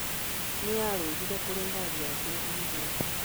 Nĩ aarũgire kũrĩ ngari ya kwĩhingũra.